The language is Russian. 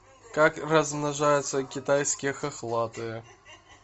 как размножаются китайские хохлатые